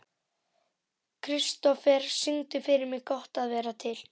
Kristofer, syngdu fyrir mig „Gott að vera til“.